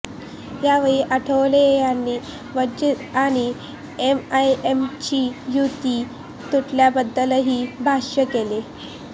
यावेळी आठवले यांनी वंचित आणि एमआयएमची युती तुटल्याबद्दलही भाष्य केले